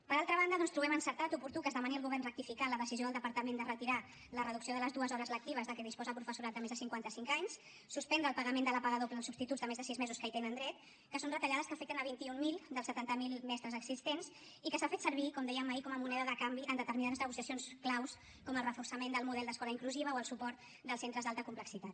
per altra banda doncs trobem encertat oportú que es demani al govern rectificar en la decisió del departament de retirar la reducció de les dues hores lectives de què disposa el professorat de més de cinquanta cinc anys suspendre el pagament de la paga doble als substituts de més de sis mesos que hi tenen dret que són retallades que afecten a vint mil dels setanta miler mestres existents i que s’ha fet servir com dèiem ahir com a moneda de canvi en determinades negociacions clau com el reforçament del model d’escola inclusiva o el suport dels centres d’alta complexitat